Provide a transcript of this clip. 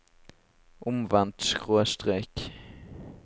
omvendt skråstrek